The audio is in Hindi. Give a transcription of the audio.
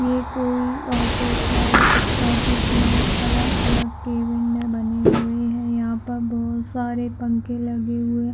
ये कोई ऑफिस है इस ऑफिस में अलग-अलग कैबिने बने हुए है यहाँ पर बहोत सारी पंखे लगे हुए--